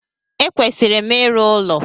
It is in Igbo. E kwesịrị m ịrụ ụlọ